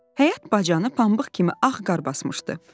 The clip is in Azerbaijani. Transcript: Həyət bacanı pambıq kimi ağ qar basmışdı.